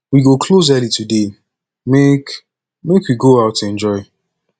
we go close early today make make we go out enjoy